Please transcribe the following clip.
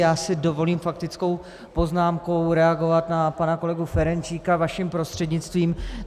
Já si dovolím faktickou poznámkou reagovat na pana kolegu Ferjenčíka vaším prostřednictvím.